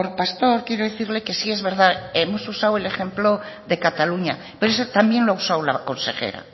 pastor quiero decirle que sí es verdad hemos usado el ejemplo de cataluña pero ese también lo ha usado la consejera